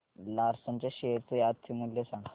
Larsen च्या share चे आजचे मूल्य सांगा